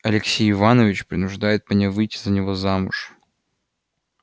алексей иванович принуждает меня выйти за него замуж